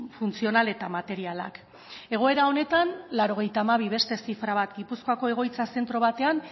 funtzional eta materialak egoera honetan laurogeita hamabi beste zifra gipuzkoako egoitza zentro batean